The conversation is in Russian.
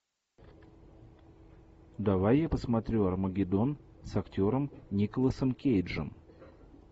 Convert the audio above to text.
давай я посмотрю армагеддон с актером николасом кейджем